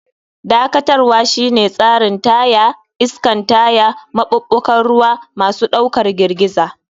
Dakatarwa shine tsarin taya, iskan taya, maɓuɓɓugan ruwa, masu ɗaukar girgiza.